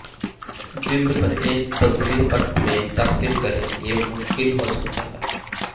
جلد پر ایک پتلی پرت میں تقسیم کریں یہ مشکل ہو سکتا ہے